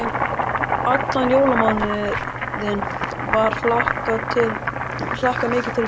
Allan jólamánuðinn var hlakkað mikið til þeirra.